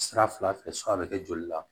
Sira fila fɛ san bɛ kɛ joli la